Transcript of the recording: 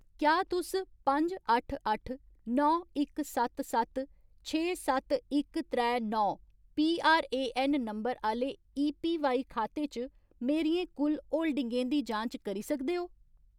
क्या तुस पंज अट्ठ अट्ठ नौ इक सत्त सत्त छे सत्त इक त्रै नौ पीआरएऐन्न नंबर आह्‌ले एपीवाई खाते च मेरियें कुल होल्डिंगें दी जांच करी सकदे ओ ?